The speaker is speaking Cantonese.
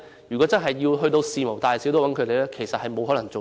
如果事無大小也要找他們處理，其實是沒有可能應付的。